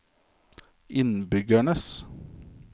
innbyggernes